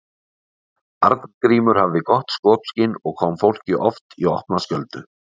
Arngrímur hafði gott skopskyn og kom fólki oft í opna skjöldu.